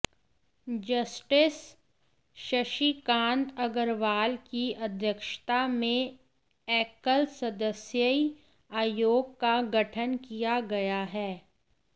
justice Shashikant Agrawal की अध्यक्षता में एकल सदस्यीय आयोग का गठन किया गया है